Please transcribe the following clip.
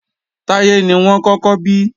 Táyé ni wọ́n kọ́kọ́ bí